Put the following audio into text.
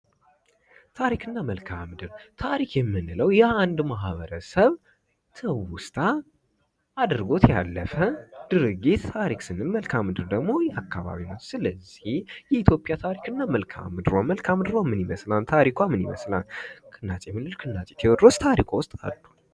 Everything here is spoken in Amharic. ታሪክና መልክዓ ምድር ታሪክ የምንለው ማህበረሰብ ትውስታ አድርጎት ያለፈ ድርጊት ታሪክ መልካም ስንል ደግሞ አካባቢውን ሁኔታ ስለዚህ የኢትዮጵያ መልካም ምድር እና ኢትዮጵያ ታሪክና ምኒልክ እና ቴዎድሮስ ታሪካዊ ውስጥ አሉ፡፡